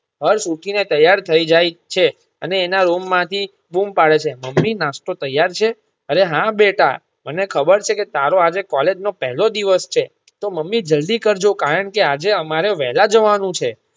હર્ષ ઉઠી ને તૈયાર થઇ જાય છે અને એના રૂમ માંથી બૂમ પાડે છે મમ્મી નાસ્તો તૈયાર છે અરે હા બેટા મને ખબર છે કે તારો આજે કૉલેજનો પેલો દિવસ છે તો મમ્મી જલ્દી કરજો કારણ કે આજે અમારે વહેલા જવાનું છે